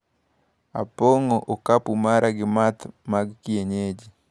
Apong`o okapu mara gi math mag kienyeji.